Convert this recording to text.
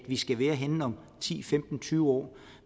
vi skal være henne om ti femten tyve år